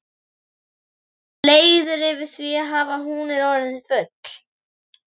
Hann er leiður yfir því hvað hún er orðin full.